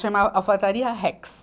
Chama Alfaiataria Rex.